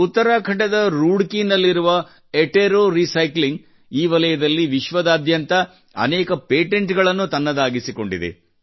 ಉತ್ತರಾಖಂಡದ ರೂಡಕೀ ನಲ್ಲಿರುವ Attero Attero recycling ಈ ವಲಯದಲ್ಲಿ ವಿಶ್ವಾದ್ಯಂತ ಅನೇಕ ಪೇಟೆಂಟ್ಸ್ ತನ್ನದಾಗಿಸಿಕೊಂಡಿದೆ